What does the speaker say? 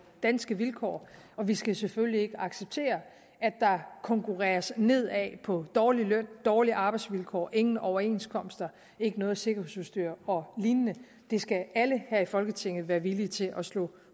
danske vilkår og vi skal selvfølgelig ikke acceptere at der konkurreres nedad på dårlig løn dårlige arbejdsvilkår ingen overenskomst intet sikkerhedsudstyr og lignende det skal alle her i folketinget være villige til at slå